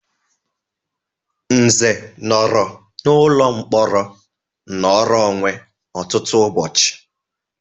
Nze nọrọ n'ụlọ mkpọrọ nnoro onwe ọtụtụ ụbọchị.